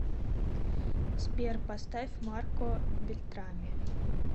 сбер поставь марко бельтрами